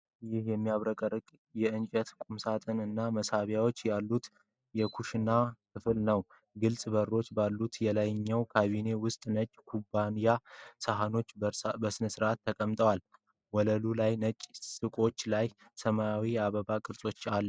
ይህ የሚያብረቀርቅ የእንጨት ቁምሳጥን እና መሳቢያዎች ያሉት የኩሽና ክፍል ነው። ግልጽ በሮች ባሉት የላይኛው ካቢኔቶች ውስጥ ነጭ ኩባያዎችና ሳህኖች በሥርዓት ተቀምጠዋል። ወለሉ ላይ ነጭ ሰቆች ላይ ሰማያዊ የአበባ ቅርጾች አሉ።